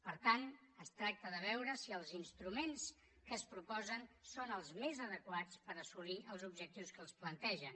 per tant es tracta de veure si els instruments que es proposen són els més adequats per assolir els objectius que es plantegen